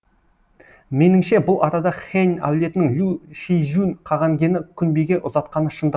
меніңше бұл арада хэнь әулетінің лю шижюн қағанкені күнбиге ұзатқаны шындық